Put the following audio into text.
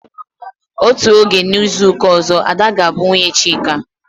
Otú oge a n'izuka ọzọ, Ada ga bụ nwunye Chike